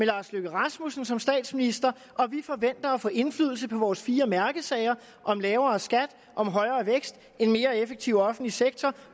lars løkke rasmussen som statsminister og vi forventer at få indflydelse på vores fire mærkesager lavere skat højere vækst en mere effektiv offentlig sektor